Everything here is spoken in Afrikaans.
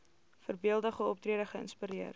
voorbeeldige optrede geïnspireer